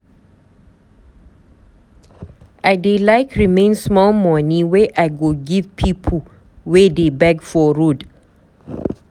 I dey like remain small moni wey I go give pipu wey dey beg for road.